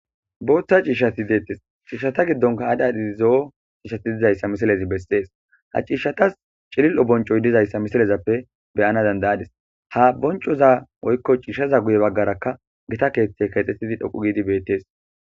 booththa ciishshati deettis ciishata giddonka adhadhi zo7o ciishshati dizayssa misilezi bessees ha ciishshatas cilil7o boncoy dizayssa misilezappe beyana dandayadis ha boncoza oykko ciishaza guye baggarakka gita keeththey kaxxetidi dhoqu giidi beettees